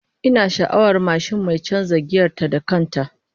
Ina sha'awar mashin mai canza giyar ta da kan ta